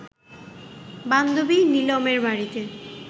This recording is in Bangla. বান্ধবী নিলমের বাড়িতে